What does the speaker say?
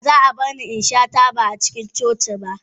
Ba za a bar ni in sha taba a cikin coci ba.